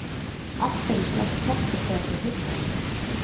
Af hverju slást kettir þegar þeir hittast?